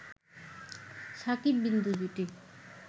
শাকিব-বিন্দু জুটি